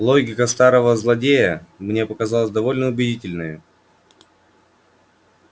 логика старого злодея мне показалась довольно убедительною